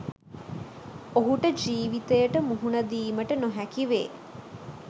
ඔහුට ජීවිතයට මුහුණ දීමට නොහැකි වේ.